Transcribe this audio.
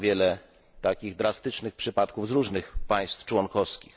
Znam wiele takich drastycznych przypadków z różnych państw członkowskich.